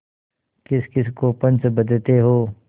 किसकिस को पंच बदते हो